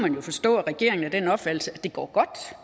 jo forstå at regeringen er af den opfattelse at det går godt